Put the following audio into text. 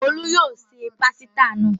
Òkú yóò se pásítà náà.